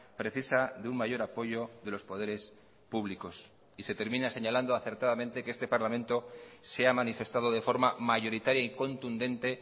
precisa de un mayor apoyo de los poderes públicos y se termina señalando acertadamente que este parlamento se ha manifestado de forma mayoritaria y contundente